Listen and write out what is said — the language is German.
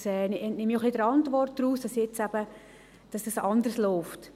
Ich entnehme es auch ein bisschen der Antwort, dass dies jetzt eben anders läuft.